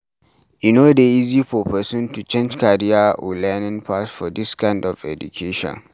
e no dey easy for person to change career or learning path for this kind of education